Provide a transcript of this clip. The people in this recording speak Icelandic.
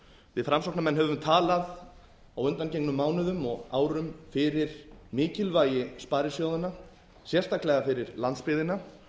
við framsóknarmenn höfum talað á undangengnum mánuðum og árum fyrir mikilvægi sparisjóðanna sérstaklega fyrir landsbyggðina